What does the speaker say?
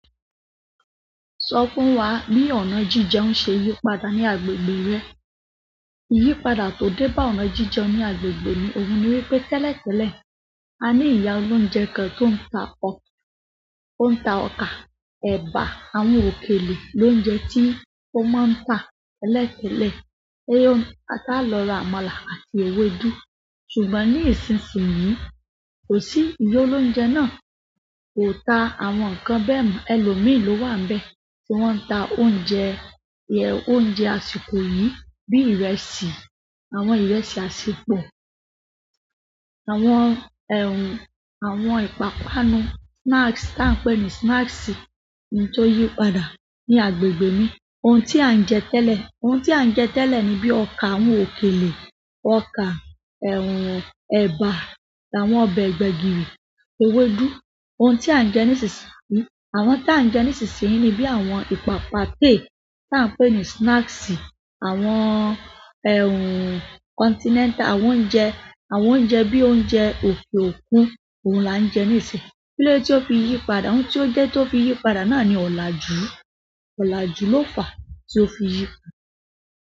Sọ fún wa bí ọ̀nà jíjeun ń ṣe yípadà ní agbègbè rẹ. Iyípadà tó dé bá ọ̀nà jejeun ní agbègbè mi òhun ni wípé tẹ́lẹ̀tẹ́lẹ̀, a ní ìyá olóúnjẹ kan tó ń ta ọkà, ẹ̀bà, àwọn òkèlè, lóúnjẹ tí ó máa ń tà tẹ́lẹ̀tẹ́lẹ̀. Tá lọ ra àmàlà àti ewédú. Ṣùgbọ́n ní ìsinsi yìí, kosi iya olounje náà, kò tà àwọn nǹkan bẹ́ẹ̀ mọ́. Ẹ̀lọ́ mi ló wà níbẹ̀ tí wọ́n ti ń ta oúnjẹ, oúnjẹ àsìkò yìí bí ìrẹsì, àwọn ìrẹsì àṣẹpọ̀. Àwọn ẹ̀wùn, àwọn ìpápánu, snacks tí à ń pè ní snacks ni tó yí padà ní agbègbè mi. Ohun tí à ń jẹ tẹ́lẹ̀, ohun tí à ń jẹ tẹ́lẹ̀ ní bíi ọkà, àwọn òkèlè, ọkà, ẹ̀wùn, ẹ̀bà, àwọn ọbẹ̀ gbẹ̀gìrì, ewédú. Ohun tí à ń jẹ nísinsìnyí, àwọn tí à ń jẹ nísinsìnyí ni bíi àwọn ìpápáte tí à ń pè ní snacks, àwọn ẹ̀wùn continental, àwọn oúnjẹ, àwọn oúnjẹ bíi oúnjẹ òkè òkun, òun là ń jẹ nísìnyí. Kí ló dé tí o fi yí padà? Ohun tó dẹ́ tó fi yí padà náà ni ọ̀làjú, ọ̀làjú ló fà tí ó fi yí.